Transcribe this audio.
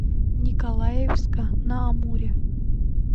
николаевска на амуре